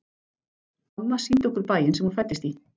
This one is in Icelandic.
Amma sýndi okkur bæinn sem hún fæddist í.